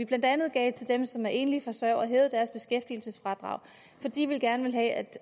blandt andet givet til dem som er enlige forsørgere vi har hævet deres beskæftigelsesfradrag fordi vi gerne vil have